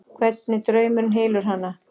Hvernig draumurinn hylur hana.